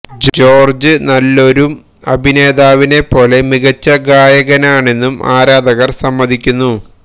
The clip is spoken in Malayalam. ജോർജ് നല്ലൊരും അഭിനേതാവിനെ പോലെ മികച്ച ഗായകനാണെന്നും ആരാധകർ സമ്മതിക്കുന്നു